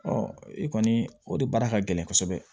i kɔni o de baara ka gɛlɛn kosɛbɛ